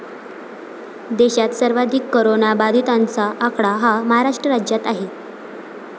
देशात सर्वाधिक कोरोना बाधितांचा आकडा हा महाराष्ट्र राज्यात आहे.